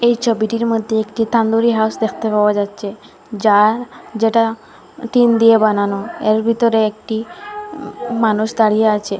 এই ছবিটির মধ্যে একটি তান্দুরি হাঁস দেখতে পাওয়া যাচ্ছে যা যেটা টিন দিয়ে বানানো এর ভিতরে একটি মানুষ দাঁড়িয়ে আছে।